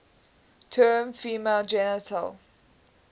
term female genital